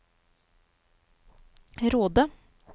Råde